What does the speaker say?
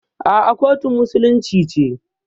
A'a, kotun musulunci ce.